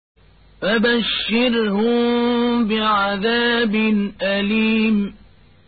فَبَشِّرْهُم بِعَذَابٍ أَلِيمٍ